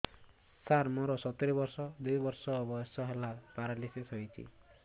ସାର ମୋର ସତୂରୀ ବର୍ଷ ବୟସ ଦୁଇ ବର୍ଷ ହେଲା ପେରାଲିଶିଶ ହେଇଚି